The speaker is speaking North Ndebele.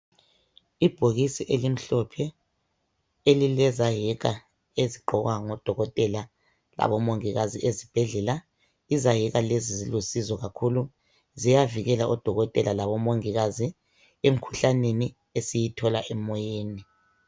Ibhokisi elimhlophe elilezayeka ezigqokwa ngodokotela labomongikazi ezibhedlela. Izayeka lezi zilusizo kakhulu, ziyavikela odokotela labomongikazi emkhuhlaneni esiyithola emoyeni.